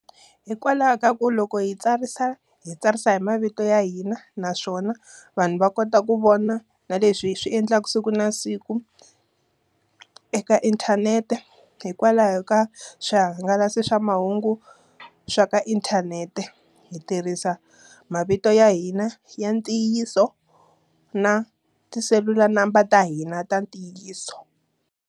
Hikwalaho ka ku loko hi tsarisa, hi tsarisa hi mavito ya hina. Naswona vanhu va kota ku vona na leswi hi swi endlaka siku na siku eka inthanete. Hikwalaho ka swihangalasi swa mahungu swa ka inthanete. Hi tirhisa mavito ya hina ya ntiyiso, na ti selula number ta hina ta ntiyiso.